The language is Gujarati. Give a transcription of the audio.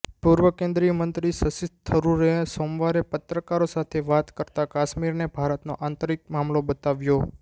પૂર્વ કેન્દ્રીય મંત્રી શશિ થરૂરે સોમવારે પત્રકારો સાથે વાત કરતા કાશ્મીરને ભારતનો આંતરિક મામલો બતાવ્યો